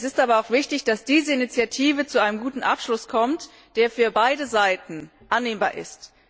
Es ist aber auch wichtig, dass diese Initiative zu einem guten Abschluss kommt, der für beide Seiten annehmbar ist.